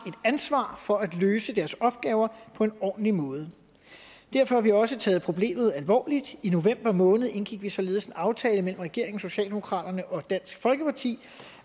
ansvar for at løse deres opgaver på en ordentlig måde derfor har vi også taget problemet alvorligt i november måned indgik vi således en aftale mellem regeringen socialdemokratiet og dansk folkeparti